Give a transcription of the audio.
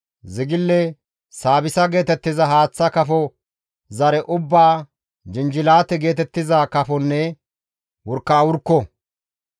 zigile, saabissa geetettiza haaththa kafo zare ubbaa, jinjilaate geetettiza kafonne wurkawurkko.